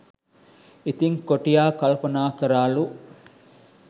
ඉතිං කොටියා කල්පනා කරාලු